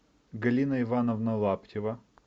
галина ивановна лаптева